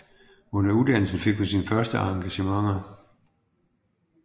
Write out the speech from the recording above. Under uddannelsen fik hun sine første engagementer